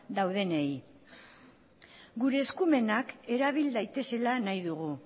daudenei gure eskumenak erabil daitezela nahi dugu